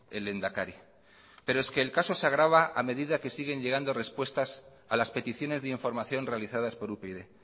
el lehendakari pero el caso se agrava a medida que siguen llegando respuestas a las peticiones de información realizadas por upyd